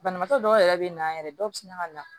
Banabaatɔ dɔw yɛrɛ bɛ na yɛrɛ dɔw bɛ sina ka na